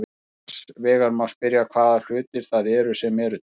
Annars vegar má spyrja hvaða hlutir það eru sem eru til.